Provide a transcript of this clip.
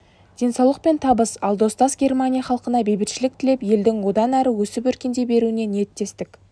денсаулық пен табыс ал достас германия халқына бейбітшілік тілеп елдің одан әрі өсіп-өркендей беруіне ниеттестік